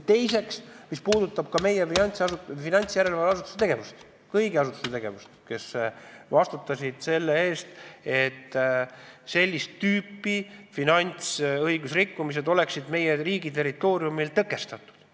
Teiseks tuleb analüüsida meie finantsjärelevalve asutuse tegevust, üldse kõigi asutuste tegevust, kes on pidanud vastutama selle eest, et sellist tüüpi finantsõigusrikkumised oleksid meie riigi territooriumil tõkestatud.